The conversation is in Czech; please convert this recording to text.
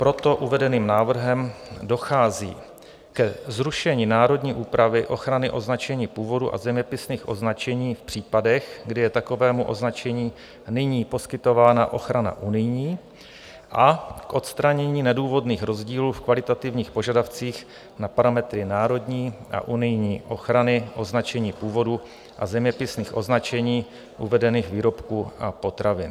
Proto uvedeným návrhem dochází ke zrušení národní úpravy ochrany označení původu a zeměpisných označení v případech, kdy je takovému označení nyní poskytována ochrana unijní, a k odstranění nedůvodných rozdílů v kvalitativních požadavcích na parametry národní a unijní ochrany označení původu a zeměpisných označení uvedených výrobků a potravin.